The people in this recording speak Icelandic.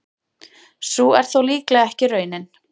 Sú er þó líklega ekki raunin.